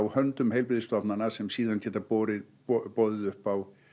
höndum heilbrigðisstofnana sem síðan geta boðið boðið upp á